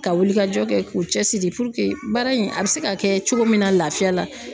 Ka wulikajɔ kɛ k'u cɛsiri baara in a bɛ se ka kɛ cogo min na la lafiya la